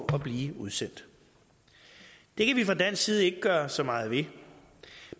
at blive udsendt det kan vi fra dansk side ikke gøre så meget ved